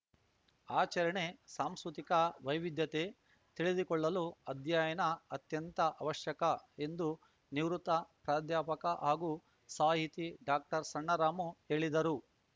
ಆಚರಣೆ ಸಾಂಸ್ಕೃತಿಕ ವೈವಿಧ್ಯತೆ ತಿಳಿದುಕೊಳ್ಳಲು ಅಧ್ಯಯನ ಅತ್ಯಂತ ಅವಶ್ಯಕ ಎಂದು ನಿವೃತ್ತ ಪ್ರಾಧ್ಯಾಪಕ ಹಾಗೂ ಸಾಹಿತಿ ಡಾಕ್ಟರ್ ಸಣ್ಣರಾಮು ಹೇಳಿದರು